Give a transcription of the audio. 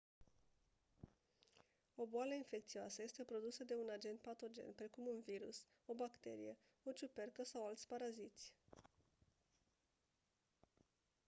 o boală infecțioasă este produsă de un agent patogen precum un virus o bacterie o ciupercă sau alți paraziți